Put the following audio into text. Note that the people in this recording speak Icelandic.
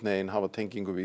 hafa tengingu við